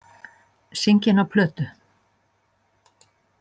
Syngja inná plötu.